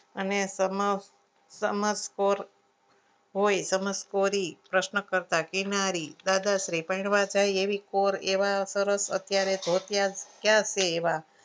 અને સમક્ષ હોય સમર્થકોટ પ્રશ્ન કરતા કિનારી દાદાશ્રી પૈણવા જાય એવી કોર એવા સરસ અત્યારે ધોતિયા ક્યાં છે એવા